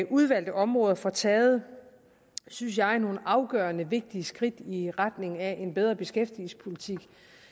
udvalgte områder får taget synes jeg nogle afgørende vigtige skridt i retning af en bedre beskæftigelsespolitik og